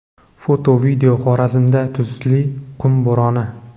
Foto, video: Xorazmda tuzli qum bo‘roni.